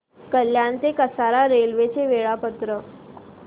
कल्याण ते कसारा रेल्वे चे वेळापत्रक